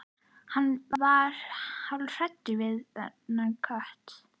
Hann varð hálfhræddur við þennan kött.